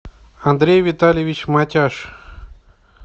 андрей витальевич матяш